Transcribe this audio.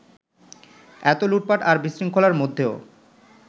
এত লুটপাট আর বিশৃঙ্খলার মধ্যেও